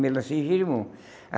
Melancia e gerimum.